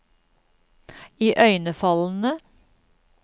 iøynefallende